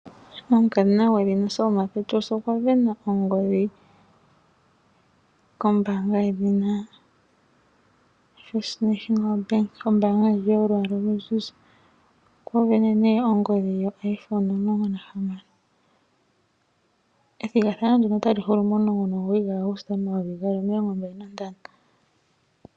Omukadhona gwedhina Selma Petrus okwa sindana ongodhi kombaanga yedhina First National Bank, ombaanga ndji yolwaala oluzizi. Okwa sindana nee ongodhi oiPhone 16, ethigathano ndoka otali hulu mo 19 Aguste 2025.